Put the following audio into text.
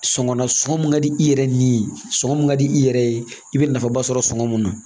Sɔngɔ nasɔngɔ mun ka di i yɛrɛ ni ye sɔngɔ min ka di i yɛrɛ ye i bɛ nafaba sɔrɔ sɔngɔ mun na